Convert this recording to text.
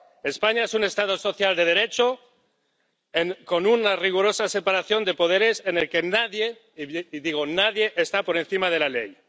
España es un Estado social de Derecho, con una rigurosa separación de poderes, en el que nadie —y digo nadie— está por encima de la ley.